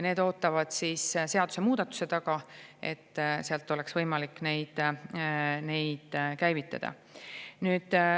Need ootavad seadusemuudatuse taga, et neid oleks võimalik sealt käivitada.